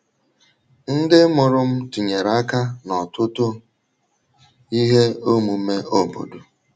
Ndị mụrụ m tinyere aka n’ọtụtụ ihe omume obodo.